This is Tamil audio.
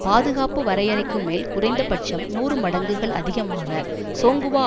பாதுகாப்பு வரையறைக்கு மேல் குறைந்த பட்சம் நூறு மடங்குகள் அதிகமாக சோங்குவா